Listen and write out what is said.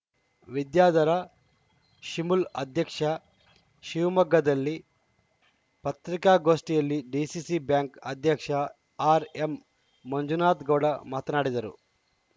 ವಿದ್ಯಾಧರ ಶಿಮುಲ್‌ ಅಧ್ಯಕ್ಷ ಶಿವಮೊಗ್ಗದಲ್ಲಿ ಪತ್ರಿಕಾಗೋಷ್ಠಿಯಲ್ಲಿ ಡಿಸಿಸಿ ಬ್ಯಾಂಕ್‌ ಅಧ್ಯಕ್ಷ ಆರ್‌ ಎಂ ಮಂಜುನಾಥ್ ಗೌಡ ಮಾತನಾಡಿದರು